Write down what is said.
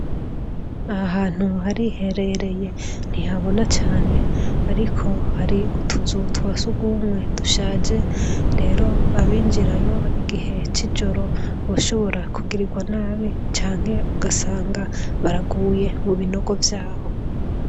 Aha hantu hariherereye. Ntihabona cane, ariko hari utuzu twa surwumwe dushaje. Rero abinjirayo igihe c'ijoro boshobora kugirirwa nabi, canke ugasanga baraguye ni binogo vyaho.